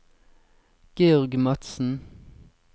Georg Madsen